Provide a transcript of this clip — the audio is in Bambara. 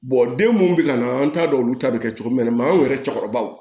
den mun bɛ ka na an t'a dɔn olu ta bɛ kɛ cogo min na maaw yɛrɛ cɛkɔrɔbaw